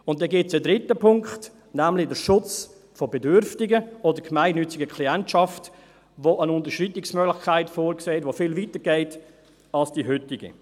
Und dann gibt es einen dritten Punkt, nämlich den Schutz von Bedürftigen oder gemeinnütziger Klientschaft, der eine Unterschreitungsmöglichkeit vorsieht, die viel weiter geht als die heutige.